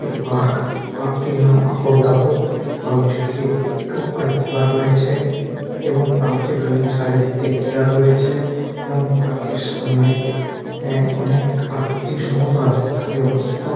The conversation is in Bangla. একটি পার্ক পার্ক টির নাম আবোল তাবোল পার্কটির গেট একটু করে খোলা রয়েছে এবং পার্কটির ভিন চারিদিক দিয়ে ঘেরা রয়েছে এবং পার্কের সামনে অ্যা অনেক পার্কটি সম্ভবত রাস্তার ধারে অবস্থিত।